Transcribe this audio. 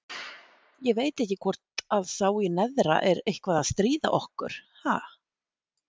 Ég veit ekki hvort að sá í neðra er eitthvað að stríða okkur, ha?